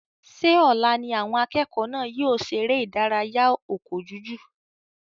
Ṣé ọ̀la ní àwọn akẹ́kọ̀ọ́ náà yóò ṣe eré ìdárayá ọkọ́ jújù?